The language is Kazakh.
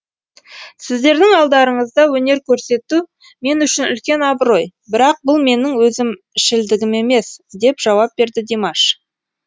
сіздердің алдарыңызда өнер көрсету мен үшін үлкен абырой бірақ бұл менің өзімшілдігім емес деп жауап берді димаш